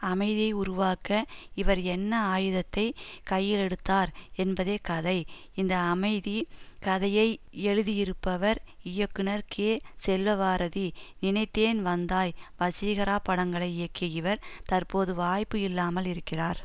அமைதியை உருவாக்க இவர் என்ன ஆயுதத்தை கையிலெடுத்தார் என்பதே கதை இந்த அமைதி கதையை எழுதியிருப்பவர் இயக்குனர் கே செல்வபாரதி நினைத்தேன் வந்தாய் வசீகரா படங்களை இயக்கிய இவர் தற்போது வாய்ப்பு இல்லாமல் இருக்கிறார்